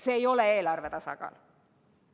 See ei ole eelarve tasakaal.